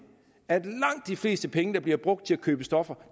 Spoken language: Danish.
at langt de fleste penge der bliver brugt til at købe stoffer